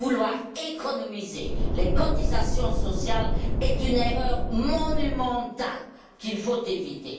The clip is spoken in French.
Vouloir économiser les cotisations sociales est une erreur monumentale, qu'il faut éviter.